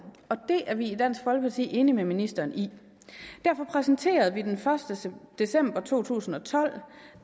og det er vi i dansk folkeparti enige med ministeren i derfor præsenterede vi den første december to tusind og tolv